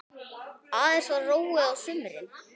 Aðeins var róið á sumrin.